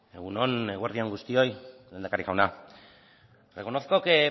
egun on eguerdi on guztioi lehendakari jauna reconozco que